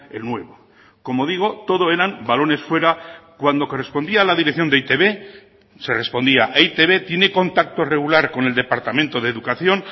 el nuevo como digo todo eran balones fuera cuando correspondía a la dirección de e i te be se respondía e i te be tiene contacto regular con el departamento de educación